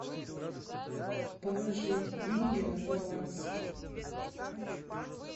положить деньги на баланс